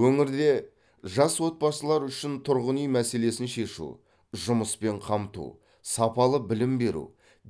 өңірде жас отбасылар үшін тұрғын үй мәселесін шешу жұмыспен қамту сапалы білім беру